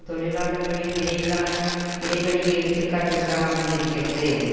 தொழிலாளர்களின் இடையிலான இடைவெளியை எடுத்து காட்டுவதாக அமைந்திருக்கிறது